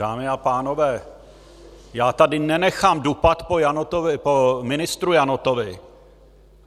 Dámy a pánové, já tady nenechám dupat po ministru Janotovi.